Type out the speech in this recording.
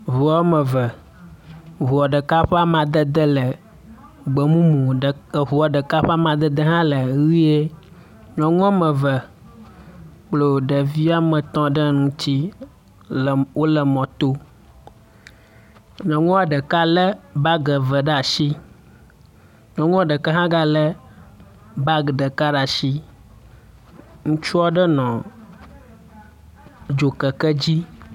Ŋu wɔme eve. Ŋua ɖeka ƒe amadede le gbemumu. Ɖe eŋua eka ƒe amadede le ʋie. Nyɔnu wɔme eve kplɔ ɖevi ame etɔ ɖe ŋutsi le wo le mɔto. Nyɔnua ɖeka le bagi eve ɖe asi nyɔnua ɖeka hã gale bagi ɖeka ɖe asi. Ŋutsu aɖe nɔ dzokeke dzi.